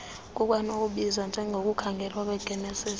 kukwanokubizwa njengokukhangelwa kwengeniso